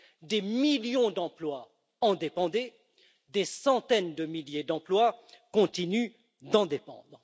Des millions d'emplois en dépendaient, des centaines de milliers d'emplois continuent d'en dépendre.